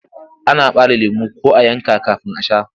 Ana ɓare lemo ko a yanka kafin a sha.